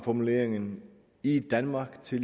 formuleringen i danmark til